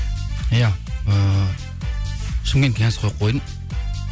иә ыыы шымкентке қойдым